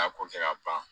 A ko kɛ ka ban